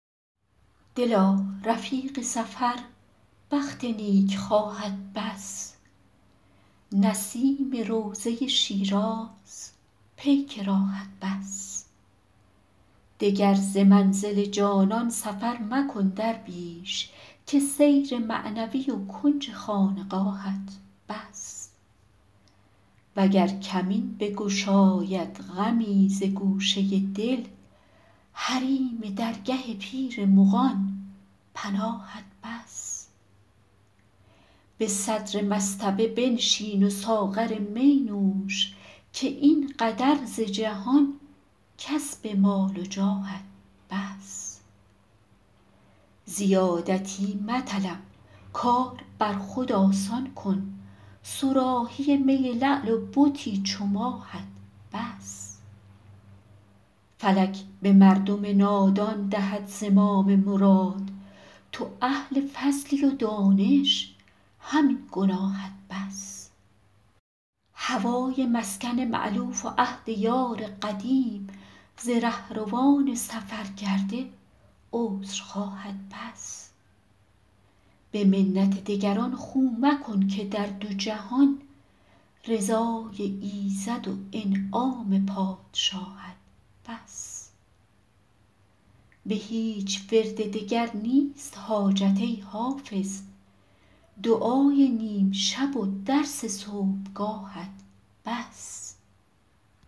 دلا رفیق سفر بخت نیکخواهت بس نسیم روضه شیراز پیک راهت بس دگر ز منزل جانان سفر مکن درویش که سیر معنوی و کنج خانقاهت بس وگر کمین بگشاید غمی ز گوشه دل حریم درگه پیر مغان پناهت بس به صدر مصطبه بنشین و ساغر می نوش که این قدر ز جهان کسب مال و جاهت بس زیادتی مطلب کار بر خود آسان کن صراحی می لعل و بتی چو ماهت بس فلک به مردم نادان دهد زمام مراد تو اهل فضلی و دانش همین گناهت بس هوای مسکن مألوف و عهد یار قدیم ز رهروان سفرکرده عذرخواهت بس به منت دگران خو مکن که در دو جهان رضای ایزد و انعام پادشاهت بس به هیچ ورد دگر نیست حاجت ای حافظ دعای نیم شب و درس صبحگاهت بس